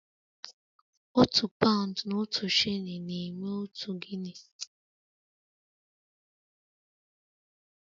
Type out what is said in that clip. Otu paụnd na otu shilling na-eme otu Guinea